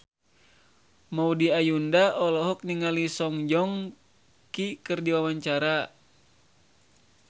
Maudy Ayunda olohok ningali Song Joong Ki keur diwawancara